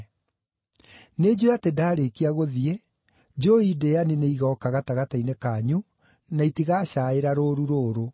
Nĩnjũũĩ atĩ ndaarĩkia gũthiĩ, njũũi ndĩĩani nĩigooka gatagatĩ-inĩ kanyu na itigacaaĩra rũũru rũrũ.